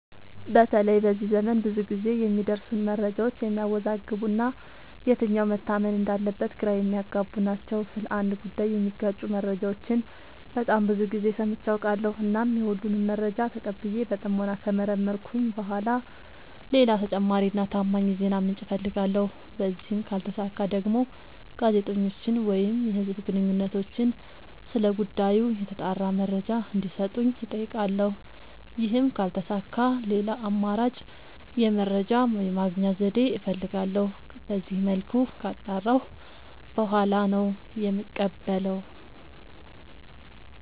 በተለይ በዚህ ዘመን ብዙ ግዜ የሚደርሱን መረጃዎች የሚያዎዛግቡ እና የትኛው መታመን እንዳለበት ግራ የሚያገቡ ናቸው። ስለ አንድ ጉዳይ የሚጋጩ መረጃዎችን በጣም ብዙ ግዜ ሰምቼ አውቃለሁ። እናም የሁሉንም መረጃ ተቀብዬ በጥሞና ከመረመርኩኝ በኋላ ሌላ ተጨማሪ እና ታማኝ የዜና ምንጭ አፈልጋለሁ። በዚህም ካልተሳካ ደግሞ ጋዜጠኞችን ወይም የህዝብ ግንኙነቶችን ስለ ጉዳዩ የተጣራ መረጃ እንዲ ሰጡኝ አጠይቃለሁ። ይህም ካልተሳካ ሌላ አማራጭ የመረጃ የማግኛ ዘዴ እፈልጋለሁ። በዚመልኩ ካጣራሁ በኋላ ነው የምቀበለው።